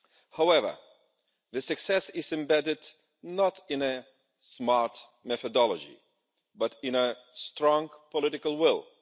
However, success is embedded not in a smart methodology, but in a strong political will.